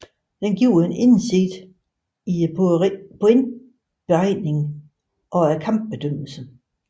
Den giver en indsigt i pointberegningen og kampbedømmelsen